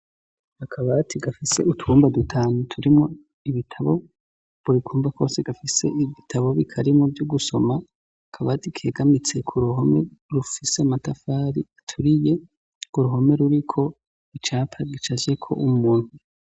Akabati gafise utwumba dutanu turimwo ibitabo ,buri kumba kose gafise ibitabo bikarimwo vyo gusoma ,akabati kegamitse kuruhome rufise amatafari aturiye , urwo ruhome ruriko icapa gicapfyeko umuntu.